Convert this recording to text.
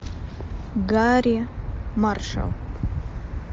гарри маршалл